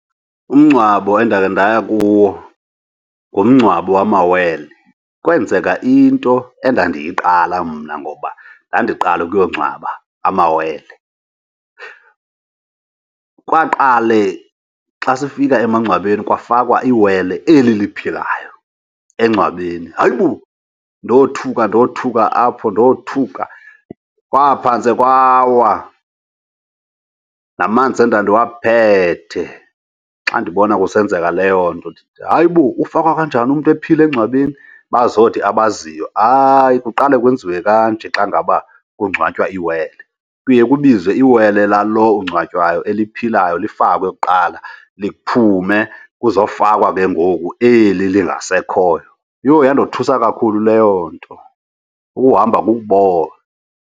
Umngcwabo endakhe ndaya kuwo ngumngcwabo wamawele. Kwenzeka into endandiyiqala mna ngoba ndandiqala ukuyo ngcwaba amawele. Kwaqale xa sifika emangcwabeni kwafakwa iwele eli liphilayo engcwabeni. Hayibo, ndothuka ndothuka apho, ndothuka! Kwaphantse kwawa namanzi endandiwaphethe xa ndibona kusenzeka leyo nto. Ndithi hayibo, ufakwa kanjani umntu ephila engcwabeni? Bazothi abaziyo hayi kuqale kwenziwe kanje xa ngaba kungcwatywa iwele, kuye kubizwe iwele lalo ungcwatywayo eliphilayo lifakwe kuqala, liphume kuzofakwa ke ngoku eli lingasekhoyo. Yho, yandothusa kakhulu leyo nto! Ukuhamba kukubona.